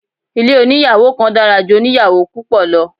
Ilé oníyàwò kan dára ju oníyàwò púpọ̀ lọ.